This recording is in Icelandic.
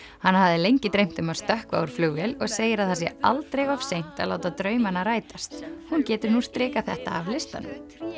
hana hafði lengi dreymt um að stökkva úr flugvél og segir að það sé aldrei of seint að láta draumana rætast hún getur nú strikað þetta af listanum